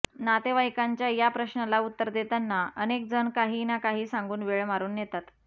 नातेवाईकांच्या या प्रश्नाला उत्तर देताना अनेक जण काही ना काही सांगून वेळ मारून नेतात